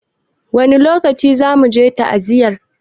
Wani lokaci zamu je ta'aziyar?